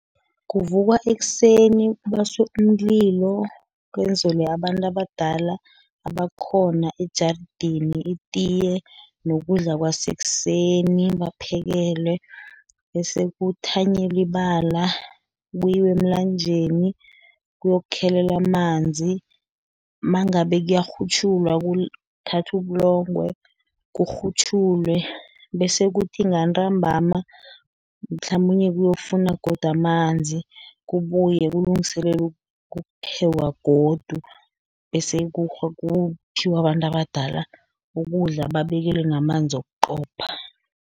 Kuvukwa ekuseni kubaswe umlilo, kwenzelwe abantu abadala, abakhona ejarideni itiye, nokudla, kwasekuseni, baphekelwe, bese kuthanyelwa ibala. Kuyiwe emlanjeni kuyokukhelelwa amanzi, nangabe kuyakghutjhulwa kuthathwe ubulongwe kukghutjhulwe, bese kuthi ngantambama, mhlamunye kuyokufunwa godu amanzi, kubuywe kulungiselelwe ukuphekwa godu, bese kuphiwa abantu abadala ukudla, babekelwe namanzi wokuqopha.